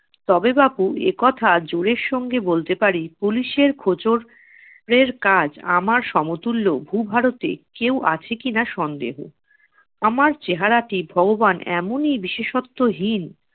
তবে বাপু একথা জোরের সঙ্গে বলতে পারি police এর খোচর এর কাজ আমার সমতুল্য ভূভারতে কেউ আছে কিনা সন্দেহ। আমার চেহারাটি ভগবান এমনই বিশেষত্বহীন-